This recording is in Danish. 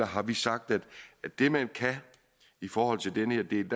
har vi sagt at det man kan i forhold til den her del